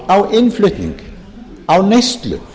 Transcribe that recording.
á innflutnings á neyslu